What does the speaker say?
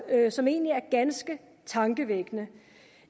som egentlig er ganske tankevækkende